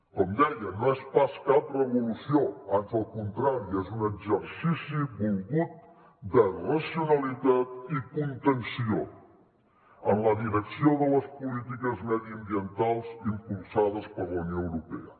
com deia no és pas cap revolució ans al contrari és un exercici volgut de racionalitat i contenció en la direcció de les polítiques mediambientals impulsades per la unió europea